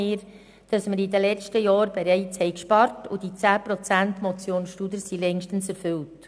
Wir haben bereits in den letzten Jahren gespart und die 10 Prozent der Motion Studer sind längst erfüllt.